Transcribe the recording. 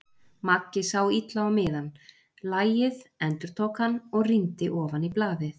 Maggi sá illa á miðann. lagið, endurtók hann og rýndi ofan í blaðið.